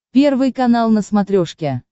первый канал на смотрешке